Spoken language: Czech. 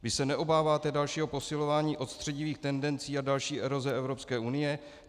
Vy se neobáváte dalšího posilování odstředivých tendencí a další eroze Evropské unie?